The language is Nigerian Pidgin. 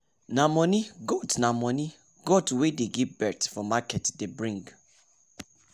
nah money goat nah money goat wey dey give birth for market day bring